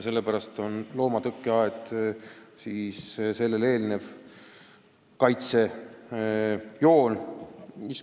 Sellepärast eelneb sellele loomatõkkeaed.